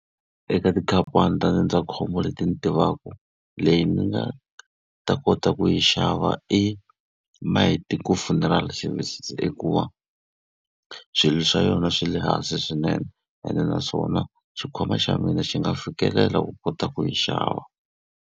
Eka tikhamphani ta ndzindzakhombo leti ni tivaka, leyi ni nga ta kota ku yi xava i Maeteko Funeral Services hikuva swilo swa yona swi le hansi swinene, ene naswona xikhwama xa mina xi nga fikelela ku kota ku yi xava.